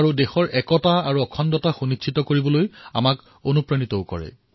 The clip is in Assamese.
আৰু দেশৰ একতা আৰু অখণ্ডতা সুনিশ্চিত কৰাৰ বাবে আমাক প্ৰেৰণাও প্ৰদান কৰে